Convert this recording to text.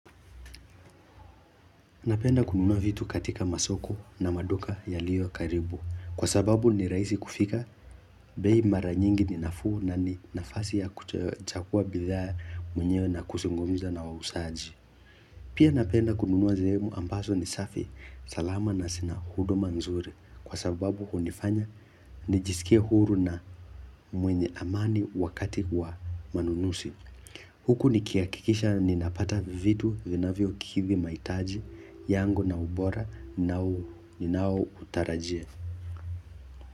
Napenda kununua vitu katika masoko na maduka yaliyo karibu kwa sababu ni rahisi kufika bei mara nyingi ni nafuu na ni nafasi ya kuchagua bidhaa mwenyewe na kuzungumza na wauzaji. Pia napenda kununua sehemu ambazo ni safi salama na zina huduma nzuri kwa sababu hunifanya nijisikie huru na mwenye amani wakati wa manunuzi. Huku nikihakikisha ninapata vitu vinavyokidhi mahitaji yangu na ubora ninao utarajia.